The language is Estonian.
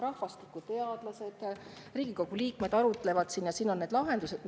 Rahvastikuteadlased ja Riigikogu liikmed arutlevad siin ja siin on ka lahendused.